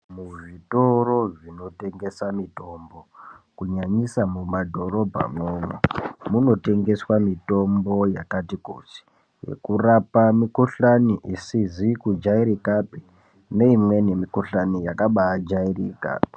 Muzvitoro zvinotengese mitombo kunyanyisa mumadhorobhamwo munotengeswa mitombo yakati kuti inorapa mikuhlani isizi kujairikapi neimweni mikuhlani yakabajairika.